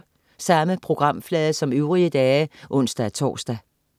Samme programflade som øvrige dage (ons-tors)